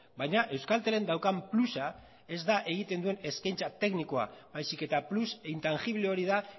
baina euskaltelek daukan plusa ez da egiten duen eskaintza teknikoa baizik eta plus intangible hori da